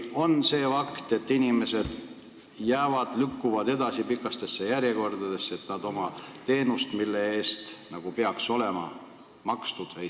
On ju fakt, et inimesed ootavad pikkades järjekordades, et saada teenust, mille eest nagu peaks olema makstud.